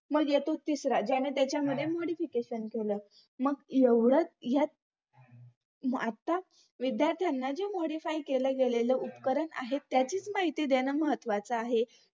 मग येतो तिसरा ज्याने त्याच्या modification केलं मग एवढंच यात आता विध्यार्थांना जे modify केल गेलेले उपकरण आहे त्याचीच माहिती देणं महत्वाचं आहे